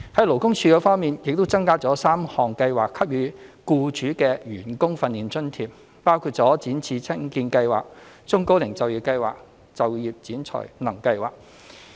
勞工處方面，處方已增加3項計劃給予僱主的員工訓練津貼，包括"展翅青見計劃"、"中高齡就業計劃"及"就業展才能計劃"。